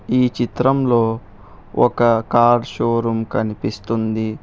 ఈ చిత్రంలో ఒక కార్ షోరూమ్ కనిపిస్తుంది.